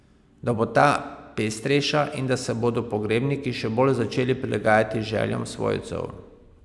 Da bo ta pestrejša in da se bodo pogrebniki še bolj začeli prilagajati željam svojcev.